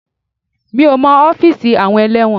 Mi ò mọ ọ́fíìsì àwọn ẹlẹ́wọ̀n.